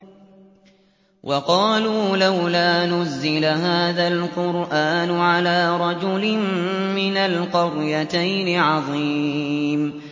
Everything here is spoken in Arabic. وَقَالُوا لَوْلَا نُزِّلَ هَٰذَا الْقُرْآنُ عَلَىٰ رَجُلٍ مِّنَ الْقَرْيَتَيْنِ عَظِيمٍ